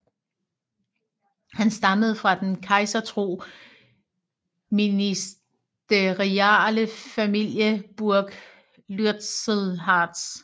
Han stammede fra den kejsertro ministerialefamilie Burg Lützelhardt